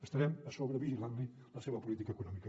estarem a sobre vigilant li la seva política econòmica